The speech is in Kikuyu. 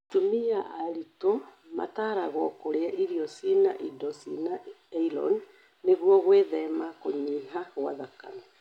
Atumia aritũ mataragwo kũrĩa iro cina indo cia aironi nĩguo gwĩthema kũnyiha gwa thakame